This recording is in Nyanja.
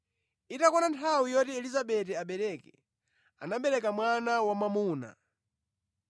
Itakwana nthawi yoti Elizabeti abereke, anabereka mwana wamwamuna.